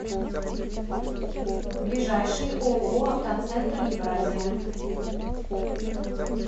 ближайший ооо автоцентр евразия